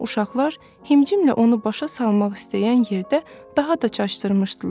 Uşaqlar himcimlə onu başa salmaq istəyən yerdə daha da çaşdırmışdılar.